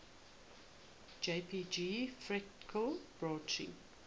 jpg fractal branching